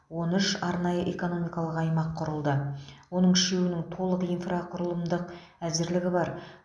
он үш арнайы экономикалық аймақ құрылды оның үшеуінің толық инфрақұрылымдық әзірлігі бар